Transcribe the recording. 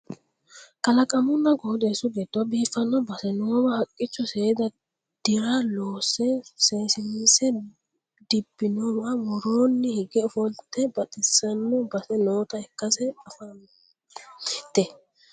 kalaqamunna qooxeessu giddo biiffanno base noowa haqqicho seeda dira loosse sinnasenni dibinowa woroonni higge ofollate baxissano base noota ikkase anfannite